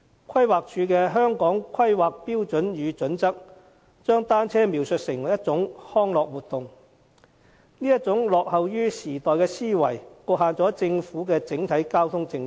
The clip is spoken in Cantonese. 規劃署的《香港規劃標準與準則》，將單車描述為一種康樂活動，這種落後於時代的思維，局限了政府的整體交通政策。